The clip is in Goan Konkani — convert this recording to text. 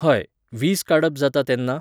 हय, वीज काडप जाता तेन्ना